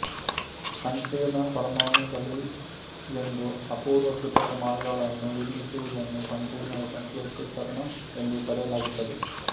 ಸಂಕೀರ್ಣ ಪರಮಾಣುಗಳಿಗೆಂದು ಅಪೂರ್ವ ಕೃತಕ ಮಾರ್ಗಗಳನ್ನು ನಿರ್ಮಿಸುವುದನ್ನು ಸಂಪೂರ್ಣ ಸಂಶ್ಲೇಷೀಕರಣ ಎಂದು ಕರೆಯಲಾಗುತ್ತದೆ